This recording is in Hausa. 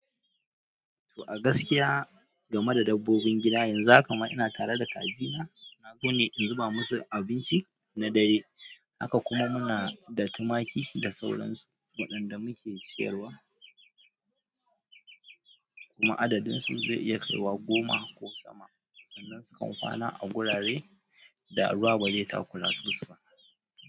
To a gaskiya game da dabbobin gida, yanzu haka ina tare da kajina, na zo ne in zuba masu abinci na dare, haka kuma muna da tumaki da sauransu waɗanda muke ciyarwa. Kuma adadin su zai iya kaiwa goma ko sama, sannan sukan kwana a gurare da ruwa ba zai takura masu ba.